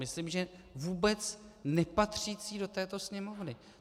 Myslím, že vůbec nepatřící do této sněmovny.